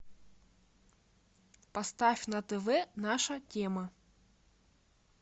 поставь на тв наша тема